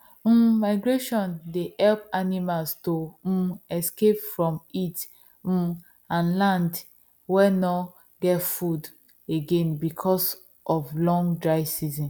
um migration dey help animals to um escape from heat um and land wen nor get food again because of long dry season